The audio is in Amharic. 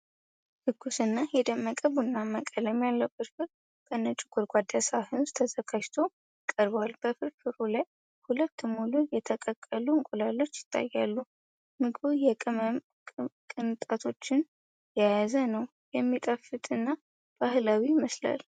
ትኩስና የደመቀ ቡናማ ቀለም ያለው ፍርፍር በነጭ ጎድጓዳ ሳህን ውስጥ ተዘጋጅቶ ቀርቧል። በፍርፍሩ ላይ ሁለት ሙሉ የተቀቀሉ እንቁላሎች ይታያሉ። ምግቡ የቅመም ቅንጣቶችን የያዘ ነው፣ የሚጣፍጥና ባህላዊ ይመስላል።